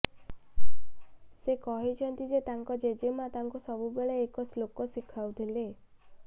ସେ କହିଛନ୍ତି ଯେ ତାଙ୍କ ଜେଜେମାଆ ତାଙ୍କୁ ସବୁବେଳେ ଏକ ଶ୍ଳୋକ ଶିଖାଉଥିଲେ